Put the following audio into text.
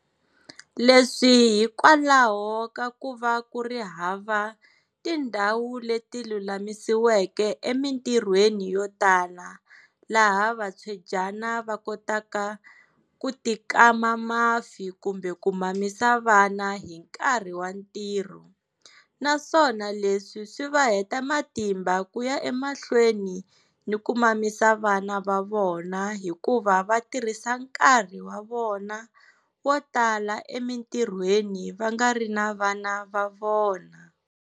Leswi hikwalaho ka ku va ku ri hava tindhawu leti lulamisiweke emitirhweni yo tala laha vatswedyana va kotaka ku tikama mafi kumbe ku mamisa vana hi nkarhi wa ntirho, naswona leswi swi va heta matimba ku ya emahlweni ni ku mamisa vana va vona hikuva va tirhisa nkarhi wa vona wo tala emitirhweni va nga ri na vana va vona.